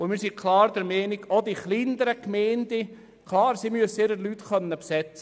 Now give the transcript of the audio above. Wir sind klar der Meinung, dass die kleineren Gemeinden ihre Berechtigung im Kanton Bern haben.